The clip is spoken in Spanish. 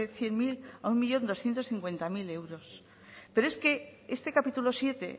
cien mil a un millón doscientos cincuenta mil euros pero es que este capítulo séptimo